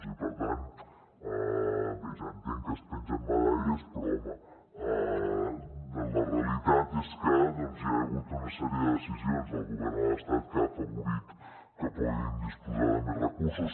i per tant bé ja entenc que es pengen medalles però home la realitat és que hi ha hagut una sèrie de decisions del govern de l’estat que han afavorit que puguin disposar de més recursos